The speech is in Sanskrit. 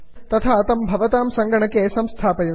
तथा तं भवतां सङ्गणके संस्थापयन्तु